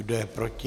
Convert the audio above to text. Kdo je proti?